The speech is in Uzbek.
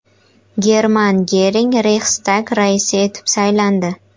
German Gering Reyxstag raisi etib saylandi.